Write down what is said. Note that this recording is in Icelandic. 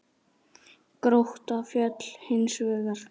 Grótta féll hins vegar.